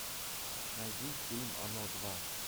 найди фильм оно два